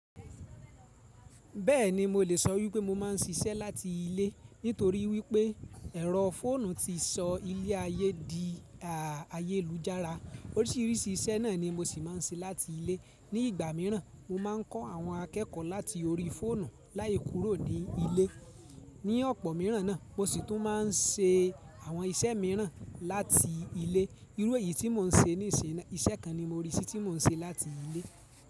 Bẹ́ẹ̀ni, mo lè sọ wípé mo máa ń ṣiṣẹ́ láti ilé nítorí wípé ẹ̀rọ fóònù ti sọ ilé ayé di ayélujára. Oríṣiríṣi iṣẹ́ náà ni mo sì máa ń ṣe láti ilé. Ni ìgbà míràn, mo máa ń kọ́ àwọn akẹ́kọ̀ọ́ láti orí fóònù láìkúrò ní ilé. Ni ọ̀pọ̀ míràn náà, mo sì tún máa ń ṣe àwọn iṣẹ́ míràn láti ilé. Irú èyí tí mo ń ṣe ní ìṣin náà, iṣẹ́ kan ni mo rí sí tí mo ń ṣe láti ilé.